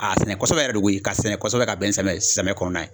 A sɛnɛ kosɛbɛ yɛrɛ de koyi k'a sɛnɛ kɔsɔbɛ ka bɛn ni samiyɛ samiya kɔnɔna na ye